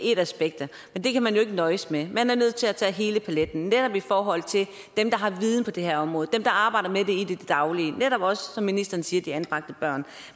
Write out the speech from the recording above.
et af aspekterne men det kan man jo ikke nøjes med man er nødt til at tage hele paletten netop i forhold til dem der har viden på det her område dem der arbejder med det i det daglige og netop også som ministeren siger de anbragte børn